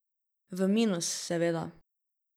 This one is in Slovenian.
V minus, seveda.